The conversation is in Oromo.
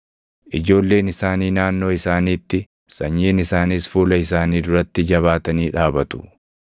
Ijoolleen isaanii naannoo isaaniitti, sanyiin isaaniis fuula isaanii duratti jabaatanii dhaabatu.